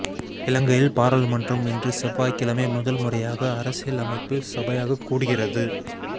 இலங்கையில் பாராளுமன்றம் இன்று செவ்வாய்க்கிழமை முதல் முறையாக அரசியலமைப்பு சபையாக கூடுகிறது